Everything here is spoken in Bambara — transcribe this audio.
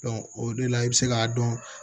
o de la i bɛ se k'a dɔn